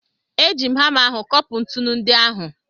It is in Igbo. E ji m hama ahụ kopụ ntụnụ ndị ahụ.